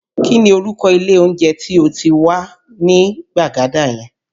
Kí ni orúkọ ilé oúnjẹ tí ó wà ní Gbagada yẹn?